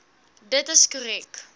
dit is korrek